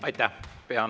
Aitäh!